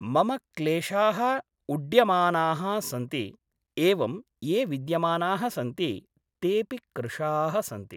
मम क्लेशाः उढ्यमानाः सन्ति एवं ये विद्यमानाः सन्ति तेऽपि कृशाः सन्ति